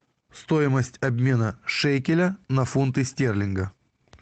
стоимость обмена шекеля на фунты стерлинга